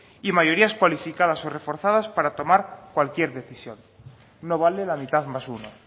y mayorías cualificadas o reforzadas para tomar cualquier decisión no vale la mitad más uno